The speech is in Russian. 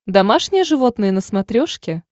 домашние животные на смотрешке